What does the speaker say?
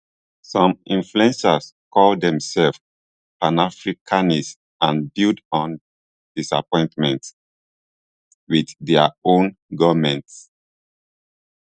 some influencers call demsefs panafricanists and build on disappointment wit dia own goments